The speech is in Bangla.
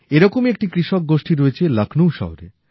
এরকমই একটি কৃষক গোষ্ঠী রয়েছে লখ্নৌ শহরে